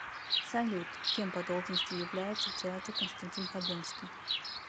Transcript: салют кем по должности является в театре константин хабенскии